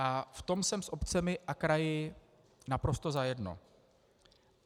A v tom jsem s obcemi a kraji naprosto za jedno.